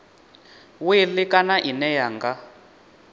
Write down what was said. wili kana ine ya nga